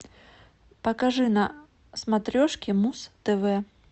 покажи на смотрешке муз тв